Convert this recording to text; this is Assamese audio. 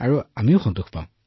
আমিও সন্তুষ্টি পাওঁ চাৰ